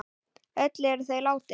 Öll eru þau látin.